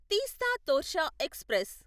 Teesta Torsha express